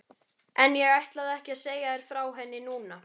En ég ætla ekki að segja þér frá henni núna.